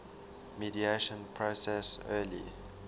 mediation process early